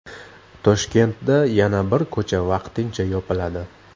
Toshkentda yana bir ko‘cha vaqtincha yopiladi.